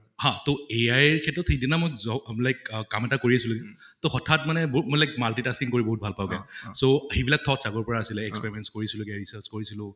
হা তʼ AI ৰ ক্ষেত্ৰত সেইদিনা মই like আহ কাম এটা কৰি আছিলো তʼ হঠাত মানে like multi-tasking কৰি বহুত ভাল পাওঁ মই । so সেইবিইলাক thoughts আগৰ পৰা আছিলে experiments কৰিছিলো research কৰিছিলো